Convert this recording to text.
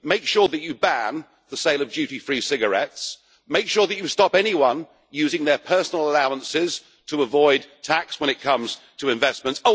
Make sure that you ban the sale of duty free cigarettes and make sure that you stop anyone using their personal allowances to avoid tax when it comes to investments.